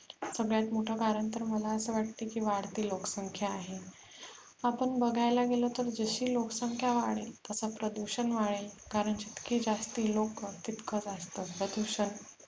सगळ्यात मोठ कारण तर मला वाटते की वाढती लोकसंख्या आहे आपण बघायला गेल तर जाशी लोकसंख्या वाढेल तसे प्रदुषण वाढेल कारण जितके जास्त लोक तितके जास्त प्रदुषण.